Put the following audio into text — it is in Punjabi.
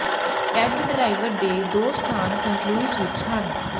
ਟੇਡ ਡਰਾਈਵ ਦੇ ਦੋ ਸਥਾਨ ਸੇਂਟ ਲੁਈਸ ਵਿਚ ਹਨ